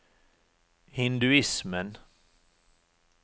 hinduismen